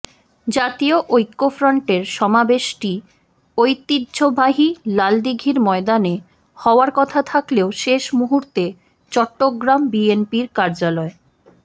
জাতীয় ঐক্যফ্রন্টের সমাবেশটি ঐতিহ্যবাহী লালদীঘির ময়দানে হওয়ার কথা থাকলেও শেষ মুহূর্তে চট্টগ্রাম বিএনপির কার্যাল